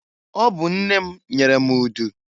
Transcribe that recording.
Ọ bụ nne m nyere m udu.